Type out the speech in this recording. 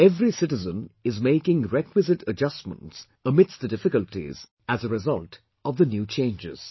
Every citizen is making requisite adjustments amidst the difficulties as a result of the new changes